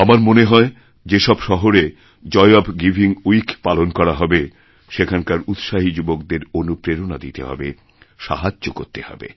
আমার মনে হয় যে সব শহরে জয় ওএফ গিভিং উইক পালন করা হবে সেখানকার উৎসাহী যুবকদেরঅনুপ্রেরণা দিতে হবে সাহায্য করতে হবে